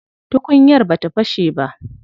Tukunyar bata fashe ba.